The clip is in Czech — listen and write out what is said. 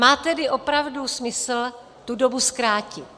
Má tedy opravdu smysl tu dobu zkrátit.